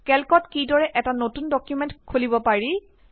কেল্কত কিদৰে এটা নতুন ডকুমেন্ট খুলিব পাৰি